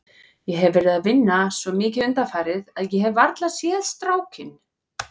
Ég hef verið að vinna svo mikið undanfarið að ég hef varla séð strákinn.